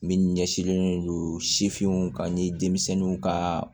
Min ɲɛsinlen don sifinw ka ni denmisɛnninw ka